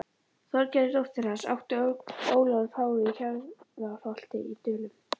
Þorgerði dóttur hans átti Ólafur pái í Hjarðarholti í Dölum.